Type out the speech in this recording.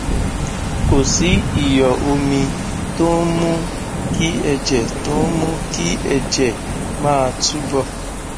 kò sí ìyọ omi tó ń mú kí ẹjẹ tó ń mú kí ẹjẹ máa túbọ